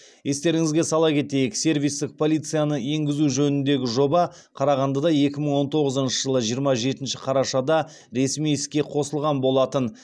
естеріңізге сала кетейік сервистік полицияны енгізу жөніндегі жоба қарағандыда екі мың он тоғызыншы жылғы жиырма жетінші қарашада ресми іске қосылған болатын